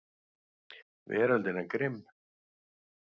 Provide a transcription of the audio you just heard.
Veröldin er grimm.